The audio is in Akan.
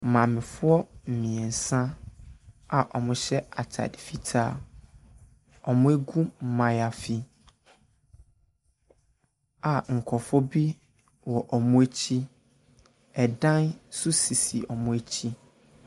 Maamefoɔ mmeɛnsa a wɔhyɛ atade fitaa, wɔagu mayaafi, a nkurɔfoɔ bi wɔ wɔn akyi. Ɛdan nso sisi wɔn akyi.